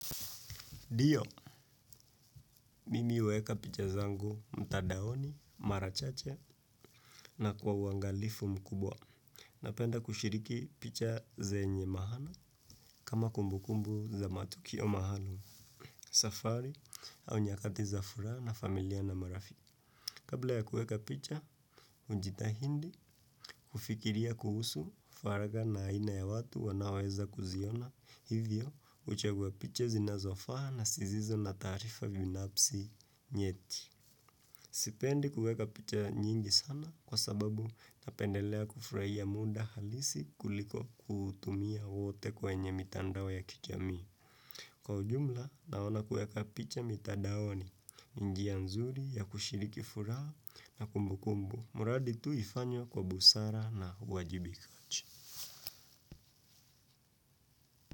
Ndio, mimi huweka picha zangu mtadaoni, mara chache na kwa uangalifu mkubwa. Napenda kushiriki picha zenye mahana kama kumbukumbu za matukio maalum, safari au nyakati za furaha na familia na marafiki. Kabla ya kuweka picha, ujitahindi kufikiria kuhusu faraga na aina ya watu wanaweza kuziona hivyo uchagua picha zinazofaa na sizizo na taarifa binapsi nyeti. Sipendi kuweka picha nyingi sana kwa sababu napendelea kufurahia muda halisi kuliko kutumia wote kwenye mitandao ya kijamii. Kwa ujumla, naona kuweka picha mitandaoni njia nzuri ya kushiriki furaha na kumbukumbu. Mradi tu ifanywe kwa busara na uwajibikaji.